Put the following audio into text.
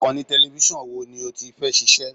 Ìkànnì tẹlẹfísọ̀n wo ni ó ti fẹ́ ṣiṣẹ́?